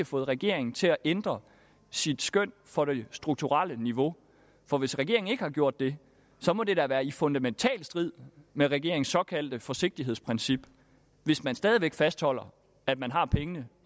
fået regeringen til at ændre sit skøn for det strukturelle niveau for hvis regeringen ikke har gjort det må det da være i fundamental strid med regeringens såkaldte forsigtighedsprincip hvis man stadig væk fastholder at man har pengene